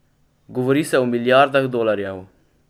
Govori se o milijardah dolarjev.